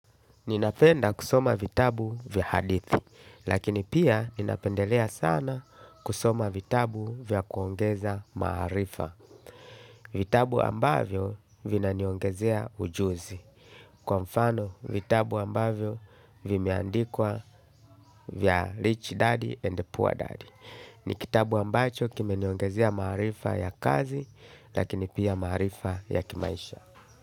Ninapenda kusoma vitabu vya hadithi, lakini pia ninapendelea sana kusoma vitabu vya kuongeza maarifa. Vitabu ambavyo vinaniongezea ujuzi, kwa mfano vitabu ambavyo vimeandikwa vya rich daddy and poor daddy. Ni kitabu ambacho kimeniongezea maarifa ya kazi, lakini pia maarifa ya kimaisha.